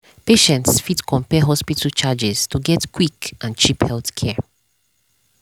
patients fit compare hospital charges to get quick and cheap healthcare.